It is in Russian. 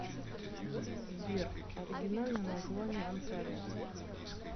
сбер оригинальное название онтарио